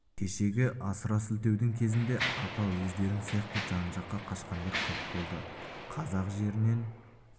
кешегі асыра сілтеудің кезінде апа өздерің сияқты жан-жаққа қашқандар көп болды қазак жерінен